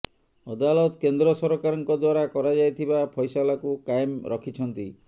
ଅଦାଲତ କେନ୍ଦ୍ର ସରକାରଙ୍କ ଦ୍ୱାରା କରାଯାଇଥିବା ଫୈସାଲାକୁ କାଏମ ରଖିଛନ୍ତି